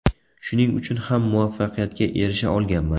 Shuning uchun ham muvaffaqiyatga erisha olganman.